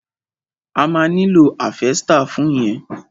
O ma nílò háfẹ́stà fún yẹn.